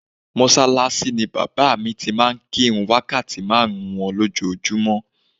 Mọ́ṣáláṣí ni bàbá mi ti máa ń kí ìrun wákàtí márùn-ún wọn lójoojúmọ́